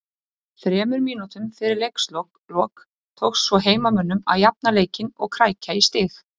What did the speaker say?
Þremur mínútum fyrir leiks lok tókst svo heimamönnum að jafna leikinn og krækja í stig